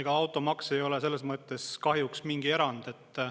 Ega automaks ei ole selles mõttes kahjuks mingi erand.